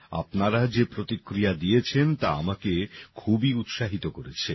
আপনারা যে প্রতিক্রিয়া দিয়েছেন তা আমাকে খুবই উৎসাহিত করেছে